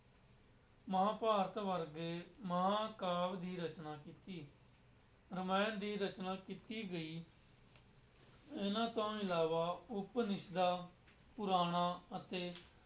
ਮਹਾਂਭਾਰਤ ਵਰਗੇ ਮਹਾਂਕਾਵਿ ਦੀ ਰਚਨਾ ਕੀਤੀ, ਰਮਾਇਣ ਦੀ ਰਚਨਾ ਕੀਤੀ ਗਈ ਇਹਨਾਂ ਤੋਂ ਇਲਾਵਾ ਉਪਨਿਸ਼ਦਾਂ, ਪੁਰਾਣਾਂ ਅਤੇ